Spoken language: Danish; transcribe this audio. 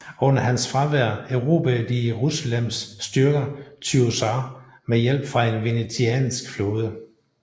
Under hans fravær erobrede de Jerusalems styrker Tyusr med hjælp fra en venetiansk flåde